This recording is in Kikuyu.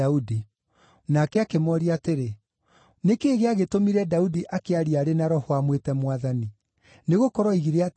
Nake akĩmooria atĩrĩ, “Nĩ kĩĩ gĩagĩtũmire Daudi akĩaria arĩ na Roho amwĩte ‘Mwathani’? Nĩgũkorwo oigire atĩrĩ,